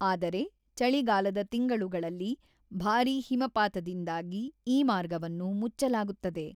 ಆದರೆ, ಚಳಿಗಾಲದ ತಿಂಗಳುಗಳಲ್ಲಿ ಭಾರೀ ಹಿಮಪಾತದಿಂದಾಗಿ ಈ ಮಾರ್ಗವನ್ನು ಮುಚ್ಚಲಾಗುತ್ತದೆ.